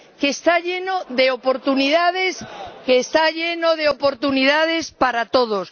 que está lleno de oportunidades, que está lleno de oportunidades para todos